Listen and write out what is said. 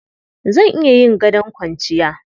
Zan iya yin gadon kwanciya.